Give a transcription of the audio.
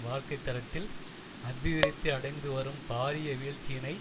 வாழ்க்கைத்தரத்தில் அபிவிருத்தி அடைந்து வரும் பாரிய வீழ்ச்சியினை